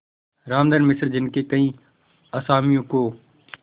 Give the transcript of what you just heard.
रामधन मिश्र जिनके कई असामियों को